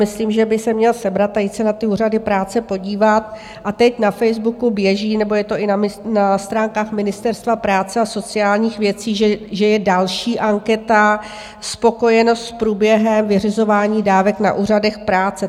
Myslím, že by se měl sebrat a jít se na ty úřady práce podívat, a teď na Facebooku běží, nebo je to i na stránkách Ministerstva práce a sociálních věcí, že je další anketa - spokojenost s průběhem vyřizování dávek na úřadech práce.